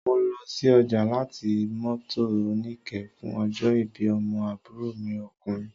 Mo lọ sí ọjà láti mọ́tò oníke fún ọjọ́ ìbí ọmọ àbúrò mi okùnrin